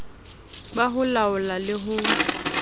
ba ho laola le ho